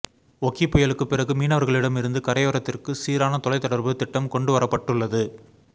ஒக்கி புயலுக்கு பிறகு மீனவர்களிடமிருந்து கரையோரத்திற்கு சீரான தொலைதொடர்பு திட்டம் கொண்டுவரப்பட்டுள்ளது